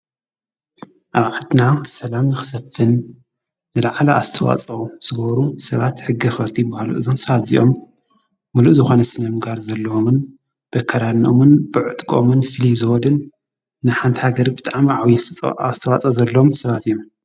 ኣብ ዓድና ሰላም ኽሰፍን ዘለዓላ ኣስተዋጾ ሥበሩ ሰባት ሕገ ኽርቲ ብሃሉ እዞምሳሓት ዚኦም ምሉእ ዝኾነስንምጋር ዘለዎምን በከራኖምን ብዕጥቆምን ፊልዝዎድን ንሓንታ ገር ብጥዓማ ዓውይጸ ኣስተዋጸ ዘሎም ሰባት እዩ።